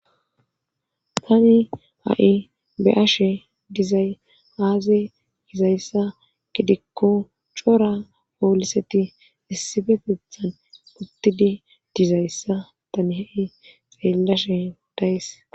tani ha7i be7ashe dizay aaze gizayssa gidikko cora pooliseti issifetethan uttidi dizayssa tani ha7i xeellashe days